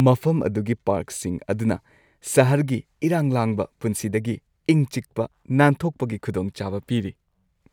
ꯃꯐꯝ ꯑꯗꯨꯒꯤ ꯄꯥꯔꯛꯁꯤꯡ ꯑꯗꯨꯅ ꯁꯍꯔꯒꯤ ꯏꯔꯥꯡ-ꯂꯥꯡꯕ ꯄꯨꯟꯁꯤꯗꯒꯤ ꯏꯪ-ꯆꯤꯛꯄ ꯅꯥꯟꯊꯣꯛꯄꯒꯤ ꯈꯨꯗꯣꯡꯆꯥꯕ ꯄꯤꯔꯤ꯫